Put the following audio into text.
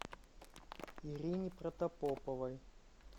ирине протопоповой